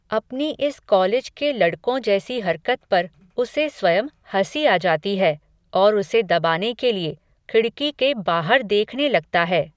अपनी इस कॉलेज के लडक़ों जैसी हरकत पर, उसे स्वयं, हसी आ जाती है, और उसे दबाने के लिये, खिडक़ी के बाहर देखने लगता है